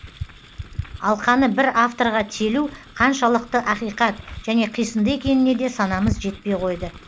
алқаны бір авторға телу қаншалықты ақиқат және қисынды екеніне де санамыз жетпей қойды